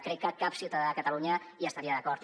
crec que cap ciutadà de catalunya hi estaria d’acord